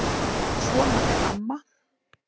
Svona er amma.